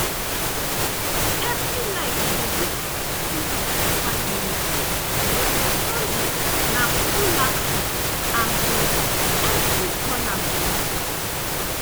evri night we dey do quick clean up for five minutes but on sunday na full action um every corner go reset.